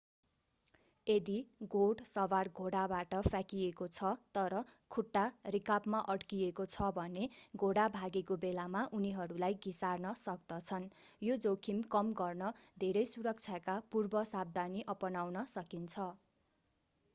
यदि घोड सवार घोडाबाट फ्याँकिएको छ तर खुट्टा रिकाबमा अड्किएको छ भने घोडा भागेको बेलामा उनीहरूलाई घिसार्न सक्दछन् यो जोखिम कम गर्न धेरै सुरक्षाका पूर्वसावधानी अपनाउन सकिन्छ